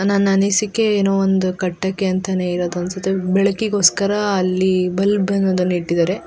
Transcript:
ನನ್ನ ಅನಿಸಿಕೆ ಏನೋ ಒಂದ್ ಕಟ್ಟಕೆ ಅಂತಾನೆ ಇರೋದು ಅನ್ಸುತ್ತೆ ಬೆಳಕಿಗೋಸ್ಕರ ಅಲ್ಲಿ ಬಲ್ಬ್ ಅನ್ನು ಇಟ್ಟಿದ್ದಾರೆ-